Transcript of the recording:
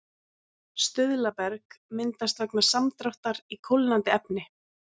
stuðlaberg myndast vegna samdráttar í kólnandi efni